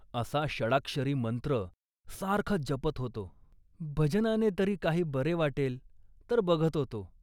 असा षडाक्षरी मंत्र सारखा जपत होतो. भजनाने तरी काही बरे वाटले तर बघत होतो